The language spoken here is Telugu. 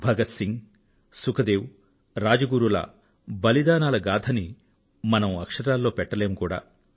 భగత్ సింగ్ సుఖ్ దేవ్ రాజ్ గురూ ల ప్రాణ సమర్పణల గాథను మనం అక్షరాల్లో పెట్టలేము కూడా